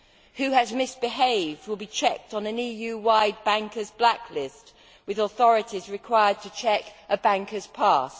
Who has misbehaved will be checked on an EU wide bankers blacklist, with authorities required to check a banker's past.